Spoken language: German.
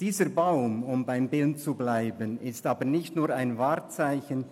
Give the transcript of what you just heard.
Dieser Baum – um bei diesem Bild zu bleiben – ist nicht nur ein Wahrzeichen.